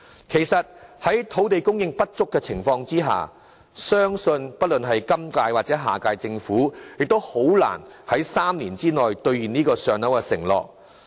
其實，在土地供應不足的情況下，相信不論是今屆或下屆政府亦很難在3年內兌現這個"上樓"的承諾。